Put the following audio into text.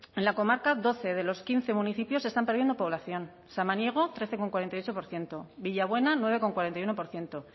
en la comarca doce de los quince municipios están perdiendo población samaniego trece coma cuarenta y ocho por ciento villabuena nueve coma cuarenta y uno por ciento